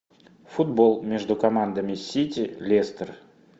футбол между командами сити лестер